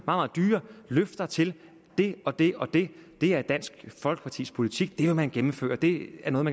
meget dyre løfter til det og det og det det er dansk folkepartis politik det vil man gennemføre det er noget